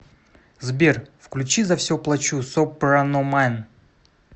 сбер включи за все плачу сопраномэн